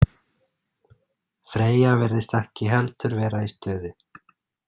Freyja virðist ekki heldur vera í stuði.